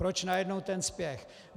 Proč najednou ten spěch?